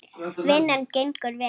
Vinnan gengur vel.